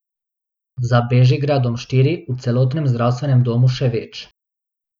Za Bežigradom štiri, v celotnem zdravstvenem domu še več.